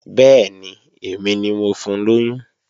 Bẹ́ẹ̀ni, èmi ni mo fun lóyún